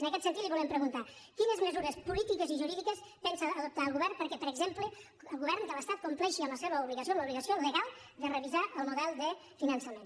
en aquest sentit li volem preguntar quines mesures polítiques i jurídiques pensa adoptar el govern perquè per exemple el govern de l’estat compleixi amb la seva obligació amb l’obligació legal de revisar el model de finançament